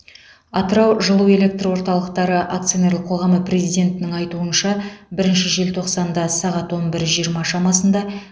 атырау жылу электр орталықтары акционерлік қоғамы президентінің айтуынша бірінші желтоқсанда сағат он бір жиырма шамасында